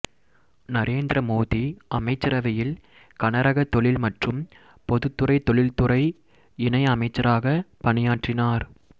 நரேந்திர மோதி அமைச்சரவையில் கனரக தொழில் மற்றும் பொதுத்துறை தொழிற்துறை இணை அமைச்சராக பணியாற்றினார்